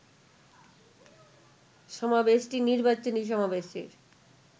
সমাবেশটি নির্বাচনী সমাবেশের